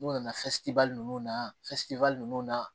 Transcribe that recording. N'u nana ninnu na ninnu na